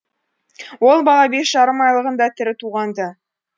ол бала бес жарым айлығында тірі туған ды